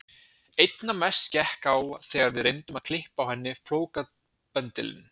Einna mest gekk á þegar við reyndum að klippa á henni flókabendilinn.